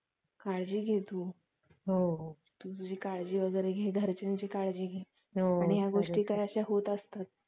Malaria अजून हि उष्ण कटिबंधीय आणि उष्ण कटिबंधीय देशामध्ये सामान्य आहे.